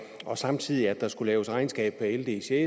og samtidig at der skal laves regnskab per ellevte